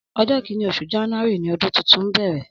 Ọjọ kìní óṣú jànúàrí ni ọdùn tútún n bẹrẹ